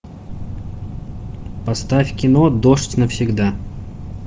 поставь кино дождь навсегда